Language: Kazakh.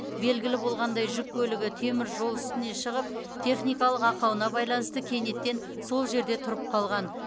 белгілі болғандай жүк көлігі темір жол үстіне шығып техникалық ақауына байланысты кенеттен сол жерде тұрып қалған